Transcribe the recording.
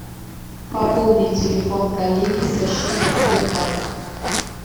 пополнить телефон коллеги со счета сбербанк